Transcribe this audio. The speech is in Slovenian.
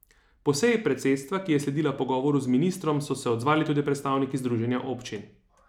Po seji predsedstva, ki je sledila pogovoru z ministrom, so se odzvali tudi predstavniki združenja občin.